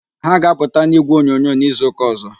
Ha ga-apụta n'ígwèonyonyo n'izuụka ọ̀zọ́.